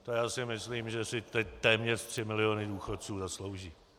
To já si myslím, že si teď téměř tři miliony důchodců zaslouží.